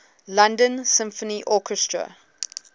london symphony orchestra